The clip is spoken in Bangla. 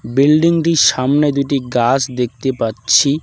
বিল্ডিং -টির সামনে দুইটি গাস দেখতে পাচ্ছি।